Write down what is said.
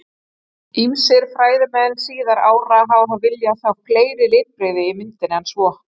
Ýmsir fræðimenn síðari ára hafa þó viljað sjá fleiri litbrigði í myndinni en svo.